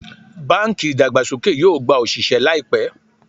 Bánkì ìdàgbàsókè yóò gba òsìsẹ́ láìpẹ́